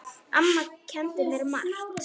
Amma kenndi mér margt.